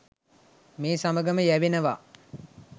මේ සමග යැවෙනවා.